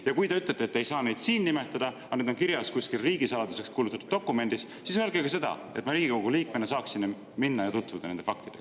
Ja kui te ütlete, et te ei saa neid siin nimetada, sest need on kirjas kuskil riigisaladuseks kuulutatud dokumendis, siis öelge ka seda, et ma Riigikogu liikmena saaksin minna ja tutvuda nende faktidega.